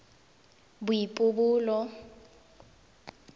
boipobolo